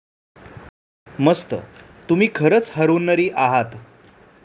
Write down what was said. मस्त. तुम्ही खरच हरहुन्नरी आहात.